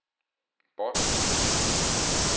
bånd